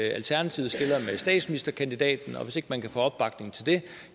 alternativet stiller med statsministerkandidaten og hvis ikke man kan få opbakning til det